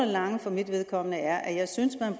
lange for mit vedkommende er at jeg synes at